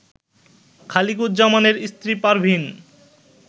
খালিকুজ্জামানের স্ত্রী পারভীন